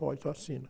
Pode, só assina.